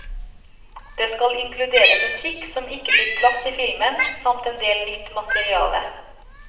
Det skal inkludere musikk som ikke fikk plass i filmen, samt en del nytt materiale.